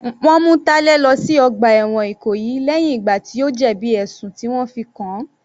Wọ́n mú Talẹ lọ sí ọgbà ẹ̀wọ̀n Ìkòyí lẹ́hìn ìgbà tí ó jẹ̀bi ẹ̀sùn tí wọ́n fi kàn-an.